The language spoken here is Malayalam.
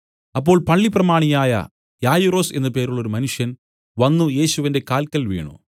അപ്പോൾ പള്ളിപ്രമാണിയായ യായിറോസ് എന്നു പേരുള്ളോരു മനുഷ്യൻ വന്നു യേശുവിന്റെ കാല്ക്കൽ വീണു